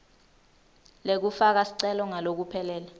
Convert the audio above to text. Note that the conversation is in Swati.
lekufaka sicelo ngalokuphelele